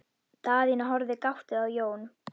Daðína horfði gáttuð á Jón.